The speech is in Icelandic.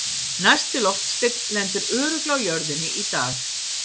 Næsti loftsteinn lendir örugglega á jörðinni í dag!